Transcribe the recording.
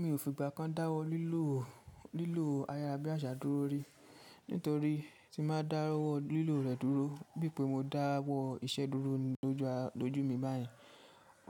Mi ò fi ìgbà kan dáwọ́ lílò, lílò ayára bí àṣà dúró rí, nítorí tí màá dáwọ́ lílò rẹ̀ dúró, bí i pé mo dáwọ́ iṣẹ́ dúró lójú mi bayẹn,